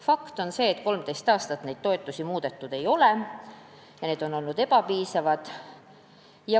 Fakt on see, et 13 aastat neid toetusi muudetud ei ole ja need on olnud ebapiisavad.